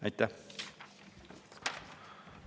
Aitäh!